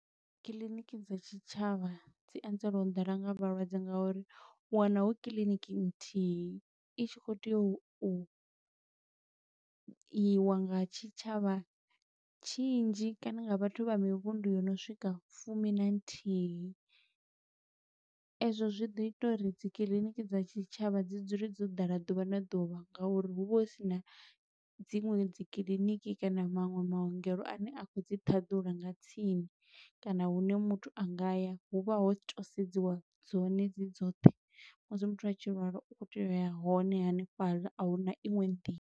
Kiḽiniki dza tshitshavha dzi anzelwa u ḓala nga vhalwadze nga uri u wana hu kiḽiniki nthihi, i tshi khou tea u iwa nga tshitshavha tshinzhi, kana nga vhathu vha mivhundu yo no swika fumi na nthihi. Ezwo zwi ḓo ita uri dzi kiliniki dza tshitshavha dzi dzule dzo ḓala ḓuvha na ḓuvha, ngauri hu vha hu sina dziṅwe dzi kiḽiniki kana maṅwe maongelo a ne a khou dzi ṱhaḓula nga tsini. Kana hune muthu a nga ya, hu vha ho to sedziwa dzone dzi dzoṱhe. Musi muthu a tshi lwala, u khou tea uya hone hanefhaḽa, a huna iṅwe nḓila.